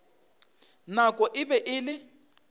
nako e be e le